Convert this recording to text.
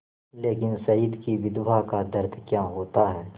लेकिन शहीद की विधवा का दर्द क्या होता है